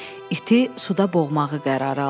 İti suda boğmağı qərara aldı.